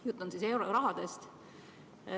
Jutt on eurorahast.